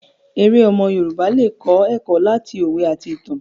Èrè omo Yorùbá le kọ eko lati owe ati itan.